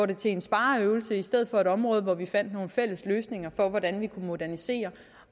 det til en spareøvelse i stedet for at et område hvor vi finder nogle fælles løsninger for hvordan vi kan modernisere